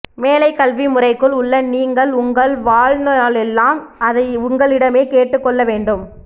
மேலைக்கல்வி முறைக்குள் உள்ள நீங்கள் உங்கள் வாழ்நாளெல்லாம் அதை உங்களிடமே கேட்டுக்கொள்ள வேண்டும்